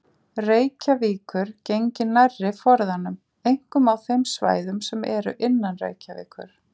Reykjavíkur gengi nærri forðanum, einkum á þeim svæðum sem eru innan Reykjavíkur.